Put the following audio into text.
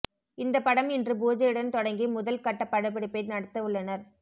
இந்த படம் இன்று பூஜையுடன் தொடங்கி முதல் கட்ட படப்பிடிப்பை நடத்த உள்ளனர்